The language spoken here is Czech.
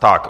Tak.